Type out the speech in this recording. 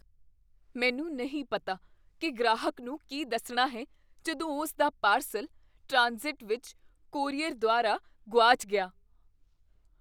ਮੈਨੂੰ ਨਹੀਂ ਪਤਾ ਕੀ ਗ੍ਰਾਹਕ ਨੂੰ ਕੀ ਦੱਸਣਾ ਹੈ ਜਦੋਂ ਉਸਦਾ ਪਾਰਸਲ ਟ੍ਰਾਂਜ਼ਿਟ ਵਿੱਚ ਕੋਰੀਅਰ ਦੁਆਰਾ ਗੁਆਚ ਗਿਆ।